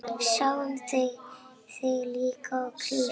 Sáuð þið lið í krísu?